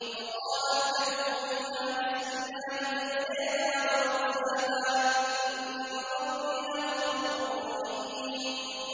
۞ وَقَالَ ارْكَبُوا فِيهَا بِسْمِ اللَّهِ مَجْرَاهَا وَمُرْسَاهَا ۚ إِنَّ رَبِّي لَغَفُورٌ رَّحِيمٌ